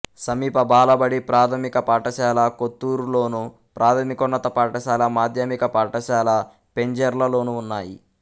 సమీప బాలబడి ప్రాథమిక పాఠశాల కొత్తూరులోను ప్రాథమికోన్నత పాఠశాల మాధ్యమిక పాఠశాల పెంజెర్లలోనూ ఉన్నాయి